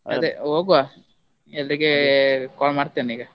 ಹೋಗ್ವ, ಎಲ್ರಿಗೆ call ಮಾಡ್ತೇನೀಗ.